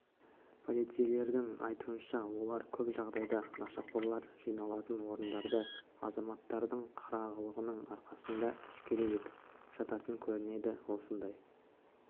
полицейлердің айтуынша олар көп жағдайда нашақорлар жиналатын орындарды азаматтардың қырағылығының арқасында әшкере етіп жататын көрінеді осындай